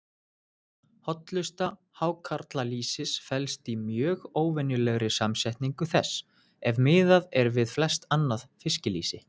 Hollusta hákarlalýsis felst í mjög óvenjulegri samsetningu þess, ef miðað er við flest annað fiskilýsi.